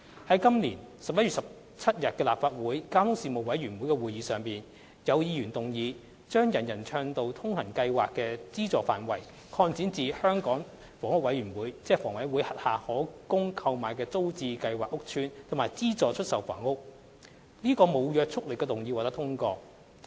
在本年11月17日的立法會交通事務委員會會議上，有議員動議將"人人暢道通行"計劃的資助範圍擴展至香港房屋委員會轄下可供購買的租者置其屋計劃屋邨及資助出售房屋；該無約束力動議獲得通過。